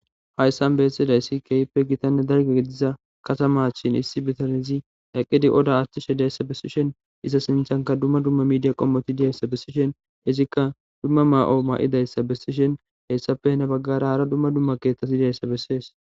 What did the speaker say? Hayssan beessidayssi kehippe gitanne dargediza katamachin issi bitanizi daqqidi oda aththishe dayssa besishen iza sinthanka dumma dumma midiya qommoti diyayssa besishen izikka dumma ma'o ma'idayssa besishen hessape ne baggara hara dumma dumma keeththas idayssa bessees.